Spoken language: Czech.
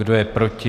Kdo je proti?